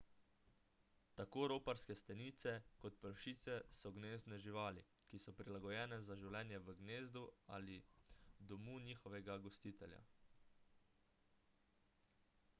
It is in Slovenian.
tako roparske stenice kot pršice so gnezdne živali ki so prilagojene za življenje v gnezdu ali domu njihovega gostitelja